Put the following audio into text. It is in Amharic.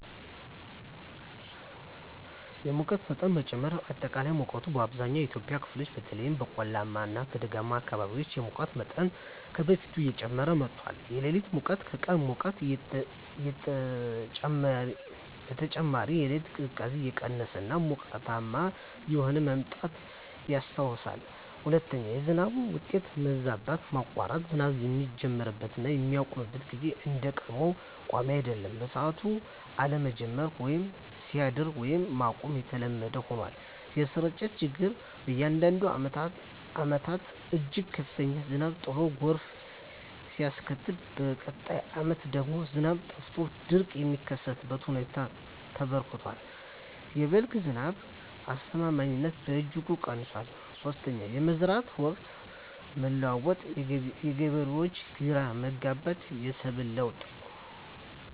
1)የሙቀት መጠን መጨመር >>አጠቃላይ ሙቀት: በአብዛኛው የኢትዮጵያ ክፍሎች (በተለይም በቆላማ እና ደጋማ አካባቢዎች) የሙቀት መጠን ከበፊቱ እየጨመረ መጥቷል። >>የሌሊት ሙቀት: ከቀን ሙቀት በተጨማሪ፣ የሌሊት ቅዝቃዜ እየቀነሰ እና ሞቃታማ እየሆነ መምጣቱ ይስተዋላል። 2)የዝናብ ሁኔታ መዛባት >>መቆራረጥ: ዝናቡ የሚጀምርበት እና የሚያቆምበት ጊዜ እንደ ቀድሞው ቋሚ አይደለም። በሰዓቱ አለመጀመር ወይም ሳይደርስ ቀድሞ ማቆም የተለመደ ሆኗል። >>የስርጭት ችግር: በአንዳንድ ዓመታት እጅግ ከፍተኛ ዝናብ ጥሎ ጎርፍ ሲያስከትል፣ በሚቀጥሉት ዓመታት ደግሞ ዝናብ ጠፍቶ ድርቅ የሚከሰትበት ሁኔታ ተበራክቷል። የ"በልግ" ዝናብ አስተማማኝነትም በእጅጉ ቀንሷል። 3)የመዝራት ወቅት መለዋወጥ: የገበሬዎች ግራ መጋባት፣ የሰብል ለውጥ